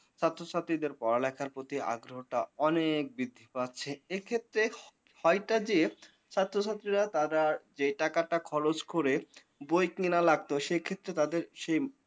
ছাত্রছাত্রীদের পড়ালেখার প্রতি আগ্রহটা অনেক বৃদ্ধি পাচ্ছে এক্ষেত্রে হয় টা যে ছাত্রছাত্রীরা তারা যে টাকাটা খরচ করে বই কিনা লাগতো সেক্ষেত্রে তাদের সেই